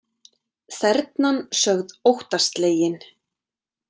Þernan sögð óttaslegin